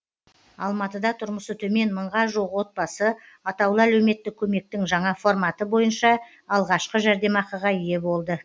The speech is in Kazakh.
алматыда тұрмысы төмен мыңға жуық отбасы атаулы әлеуметтік көмектің жаңа форматы бойынша алғашқы жәрдемақыға ие болды